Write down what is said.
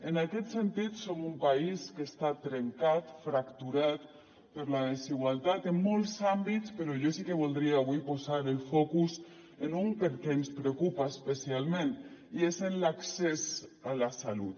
en aquest sentit som un país que està trencat fracturat per la desigualtat en molts àmbits però jo sí que voldria avui posar el focus en un perquè ens preocupa especialment i és en l’accés a la salut